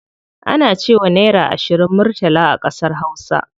Ana cewa naira ashirin murtala a ƙasar hausa.